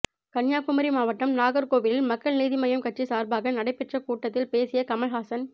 கன்னியாகுமரி மாவட்டம் நாகர்கோவிலில் மக்கள் நீதி மய்யம் கட்சி சார்பாக நடைபெற்ற கூட்டத்தில் பேசிய கமல்ஹாசன்